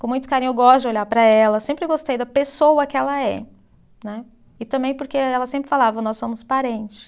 Com muito carinho, eu gosto de olhar para ela, sempre gostei da pessoa que ela é. Né, e também porque ela sempre falava, nós somos parentes.